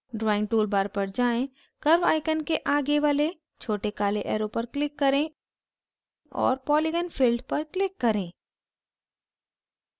drawing toolbar पर जाएँ curve icon के go वाले छोटे काले arrow पर click करें और polygon filled पर click करें